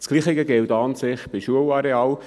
Das Gleiche gilt an sich für Schularealen.